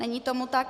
Není tomu tak.